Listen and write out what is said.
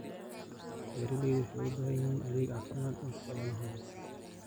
Beeraleydu waxay u baahan yihiin adeeg caafimaad oo xoolahooda.